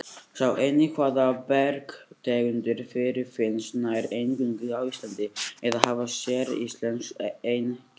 Sjá einnig Hvaða bergtegundir fyrirfinnast nær eingöngu á Íslandi eða hafa séríslensk einkenni?